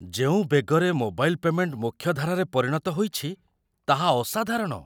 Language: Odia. ଯେଉଁ ବେଗରେ ମୋବାଇଲ୍ ପେମେଣ୍ଟ ମୁଖ୍ୟଧାରାରେ ପରିଣତ ହୋଇଛି ତାହା ଅସାଧାରଣ।